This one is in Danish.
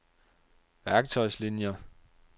værktøjslinier